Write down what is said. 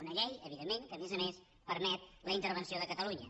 una llei evidentment que a més a més permet la intervenció de catalunya